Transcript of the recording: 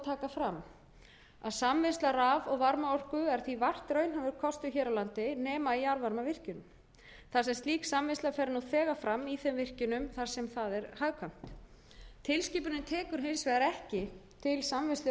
fram að samvinnsla raf og varmaorku er því vart raunhæfur kostur hér á landi nema í jarðvarmavirkjun þar sem slík samvinnsla fer nú þegar fram í þeim virkjunum þar sem það er hagkvæmt tilskipunin tekur hins vegar ekki til samvinnslu